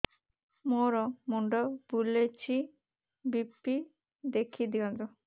ମୋର ମୁଣ୍ଡ ବୁଲେଛି ବି.ପି ଦେଖି ଦିଅନ୍ତୁ